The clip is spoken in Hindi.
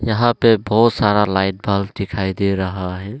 यहां पे बहोत सारा लाइट बल्ब दिखाई दे रहा है।